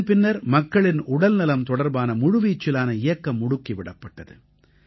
இதன் பின்னர் மக்களின் உடல்நலம் தொடர்பான முழுவீச்சிலான இயக்கம் முடுக்கி விடப்பட்டது